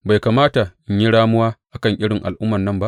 Bai kamata in yi ramuwa a kan irin al’ummar nan ba?